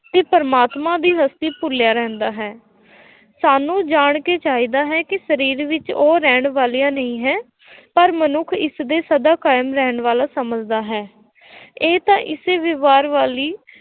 ਅਤੇ ਪ੍ਰਮਾਤਮਾ ਦੀ ਹਸਤੀ ਭੁੱਲਿਆ ਰਹਿੰਦਾ ਹੈ, ਸਾਨੂੰ ਜਾਣ ਕੇ ਚਾਹੀਦਾ ਹੈ ਕਿ ਸਰੀਰ ਵਿੱਚ ਉਹ ਰਹਿਣ ਵਾਲਾ ਨਹੀਂ ਹੈ ਪਰ ਮਨੁੱਖ ਇਸਦੇ ਸਦਾ ਕਾਇਮ ਰਹਿਣ ਵਾਲਾ ਸਮਝਦਾ ਹੈ ਇਹ ਤਾਂ ਇਸੇ ਵਿਵਹਾਰ ਵਾਲੀ